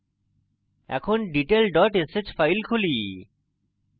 এখন detail dot sh file খুলি